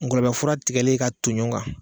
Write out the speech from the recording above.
Ngɔlɔbɛ fura tigɛli k'a to ɲɔɔn kan